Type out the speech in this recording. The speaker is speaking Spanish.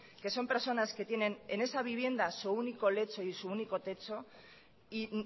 que son personas que tienen en esa vivienda su único lecho y su único techo y